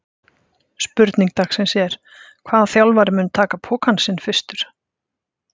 Spurning dagsins er: Hvaða þjálfari mun taka pokann sinn fyrstur?